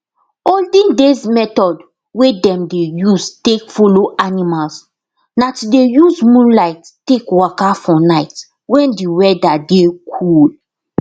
olden days method wey dem dey use take follow animals na to dey use moonlight take waka for night when d weather dey cool